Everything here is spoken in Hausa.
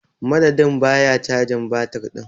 Madadin ba ya cajin batir din.